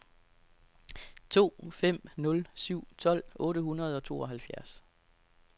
to fem nul syv tolv otte hundrede og tooghalvfjerds